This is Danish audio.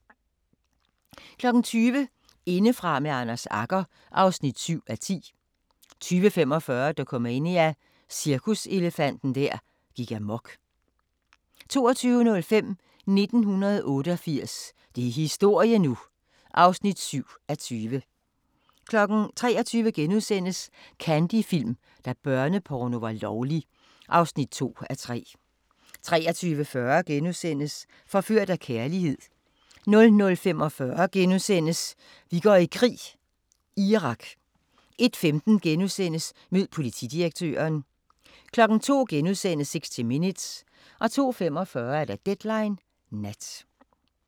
20:00: Indefra med Anders Agger (7:10) 20:45: Dokumania: Cirkuselefanten der gik amok 22:05: 1988 – det er historie nu! (7:20) 23:00: Candy Film – da børneporno var lovlig (2:3)* 23:40: Forført af kærlighed * 00:45: Vi går i krig: Irak * 01:15: Mød politidirektøren * 02:00: 60 Minutes * 02:45: Deadline Nat